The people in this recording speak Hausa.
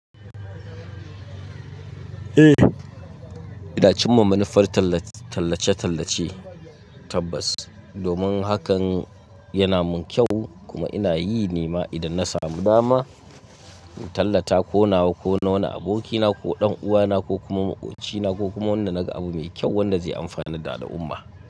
Eh, idan cin mamannifar tallace-tallace tabbas. Domin hakan yana mun kyau kuma ina yi nema idan na samu dama, in tallata ko nawa ko na wani abokina ko dan uwana ko kuma maƙocina ko kuma wanda naga abu mai kyau wanda zai amfanan da al'umma.